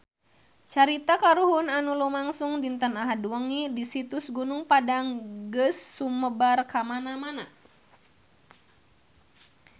Carita kahuruan anu lumangsung dinten Ahad wengi di Situs Gunung Padang geus sumebar kamana-mana